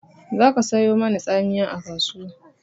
Za ka sayo mani tsamiya a kasuwa!